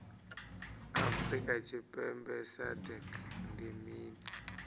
afrika tshipembe sagnc ndi mini